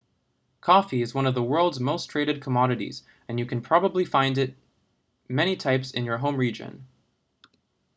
coffee is one of the world's most traded commodities and you can probably find many types in your home region